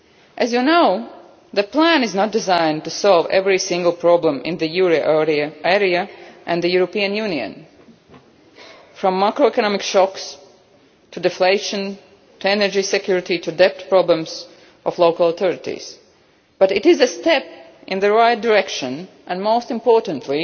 As you know, the plan is not designed to solve every single problem in the euro area or the European Union from macroeconomic shocks to deflation, energy security and local authorities' debt problems but it is a step in the right direction and, most importantly,